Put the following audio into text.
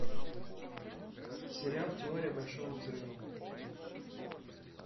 сериал теория большого взрыва